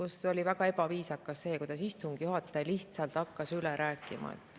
See oli väga ebaviisakas, kui istungi juhataja lihtsalt hakkas üle rääkima.